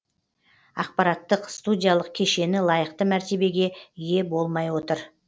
аппараттық студиялық кешені лайықты мәртебеге ие болмай отыр